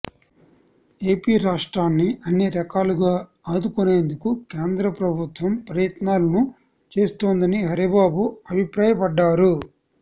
AP రాష్ట్రాన్ని అన్ని రకాలుగా ఆదుకొనేందుకు కేంద్ర ప్రభుత్వం ప్రయత్నాలను చేస్తోందని హరిబాబు అభిప్రాయపడ్డారు